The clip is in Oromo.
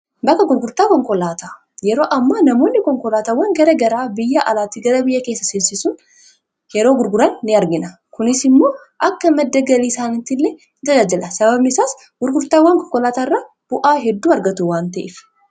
bakka gurgurtaa konkolaataa yeroo ammo namoonni konkolaatawwan gara garaa biyya alaatti gara biyya keessa sinsisun yeroo gurguraan n argina kunis immoo akka maddagalii saanitti illee in tajaajila sababisaas gurgurtaawwan konkolaataa irra bu'aa hedduu argatu waan ta'ef